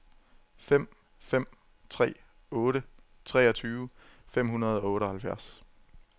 fem fem tre otte treogtyve fem hundrede og otteoghalvfjerds